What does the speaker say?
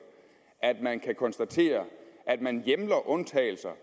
at man kan konstatere at man hjemler undtagelser